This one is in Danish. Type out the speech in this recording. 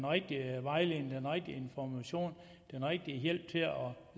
rigtige vejledning den rigtige information den rigtige hjælp til at